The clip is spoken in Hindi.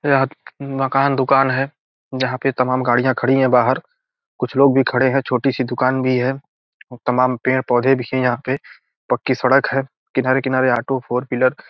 मकान दुकान है जहाँ पे तमाम गाड़ियां खड़ी है बाहर कुछ लोग भी खड़े हैं छोटी सी दुकान भी है और तमाम पेड़-पौधे भी हैं यहाँ पे पक्की सड़क है किनारे-किनारे ऑटो फोर व्हीलर --